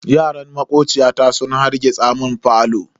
Yaran makociyata sun harrgitsa mun falo.